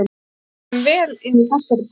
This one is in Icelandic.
Ég ætla sko að gefa þeim vel inn í þessari bók!